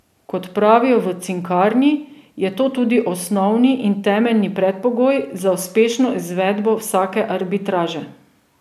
Kot pravijo v Cinkarni, je to tudi osnovni in temeljni predpogoj za uspešno izvedbo vsake arbitraže.